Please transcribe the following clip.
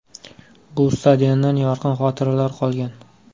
Bu stadiondan yorqin xotiralar qolgan.